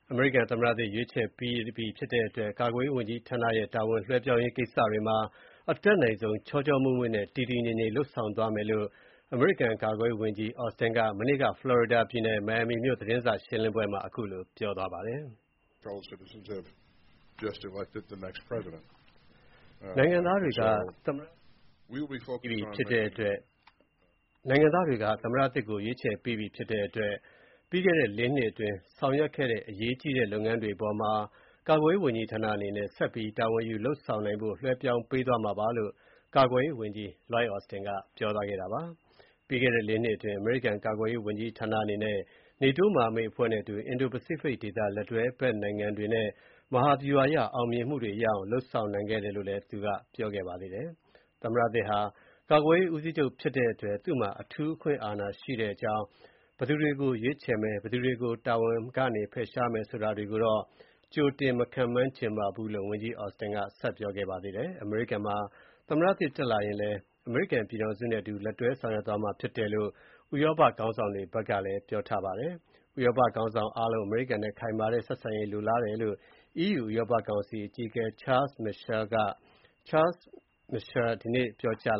အမေရိကန် သမ္မတသစ် ရွေးချယ်ပြီးဖြစ်တဲ့အတွက် ကာကွယ်ရေးဝန်ကြီးဌာနရဲ့ တာဝန်လွှဲပြောင်းရေး ကိစ္စတွေမှာ အတတ်နိုင်ဆုံးချောချောမွေ့မွေ့နဲ့ တည်တည်ငြိမ်ငြိမ် လုပ်ဆောင်သွားမယ့်အကြောင်း အမေရိကန် ကာကွယ်ရေးဝန်ကြီး Lloyd Austin က မနေ့က ဖလော်ရီဒါပြည်နယ် မိုင်ယာပီမြို့ သတင်းစာရှင်းလင်းပွဲမှာ ပြောပါတယ်။ နိုင်ငံသားတွေက သမ္မတသစ်ကို ရွေးချယ်ပြီးပြီ ဖြစ်တဲ့အတွက် ပြီးခဲ့တဲ့လေးနှစ်အတွင်း ဆောင်ရွက် ခဲ့တဲ့ အရေးကြီးတဲ့လုပ်ငန်းတွေအပေါ်မှာ ကာကွယ်ရေးဝန်ကြီးဌာအနေနဲ့ ဆက်ပြီး တာဝန်ယူ လုပ်ဆောင်နိုင်ဖို့ လွှဲပြောင်းပေးသွားမှာဖြစ်ကြောင်း ကာကွယ်ရေးဝန်ကြီး Lloyd Austin ပြောသွားတာပါ။ ပြီးခဲ့တဲ့ လေးနှစ်အတွင်း အမေရိကန် ကာကွယ်ရေးဝန်ကြီးဌာနအနေနဲ့ နေတိုး မဟာမိတ်အဖွဲ့နဲ့အတူ အင်ဒို-ပစိဖိတ်ဒေသ လက်တွဲဘက်နိုင်ငံတွေနဲ့ မဟာဗျူဟာအရ အောင်မြင်မှုတွေရအောင် လုပ်ဆောင်နိုင်ခဲ့တယ်လို့လည်း သူက ပြောပါတယ်။ သမ္မတသစ်ဟာ ကာကွယ်ရေး ဦးစီးချုပ်ဖြစ်တဲ့အတွက် သူ့မှာ အထူးအခွင့်အာဏာရှိတဲ့အကြောင်း၊ ဘယ်သူတွေကို ရွေးချယ်မယ်၊ ဘယ်သူတွေကို တာဝန်ကဖယ်ရှားမယ်ဆိုတာတွေကိုတော့ ကြိုတင် မခန့်မှန်းချင်ပါဘူးလို့ ဝန်ကြီး Austin က ပြောခဲ့ပါတယ်။ အမေရိကန်မှာ သမ္မတသစ်တက်လာရင်လည်း အမေရိကန်ပြည်ထောင်စုနဲ့ အတူလက်တွဲဆောင်ရွက် သွားမှာဖြစ်တယ်လို့ ဥရောပခေါင်းဆောင်တွေက ပြောပါတယ်။ ဥရောပခေါင်းဆောင်အားလုံး အမေရိကန်နဲ့ ခိုင်မာတဲ့ ဆက်ဆံရေးကို လိုလားတယ်လို့ EU ဥရောပ ကောင်စီ အကြီးအကဲ Charles Michael (ရှာမစ်ရှဲ) က ဒီနေ့ပြောကြား